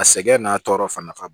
A sɛgɛn n'a tɔɔrɔ fana nafa